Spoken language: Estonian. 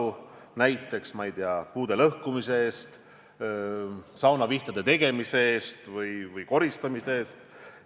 Seda näiteks, ma ei tea, puude lõhkumise eest, saunavihtade tegemise eest või koristamise eest.